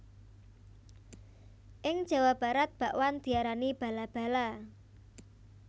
Ing Jawa Barat bakwan diarani bala bala